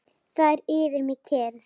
Það er yfir mér kyrrð.